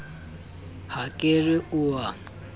ha ke re o a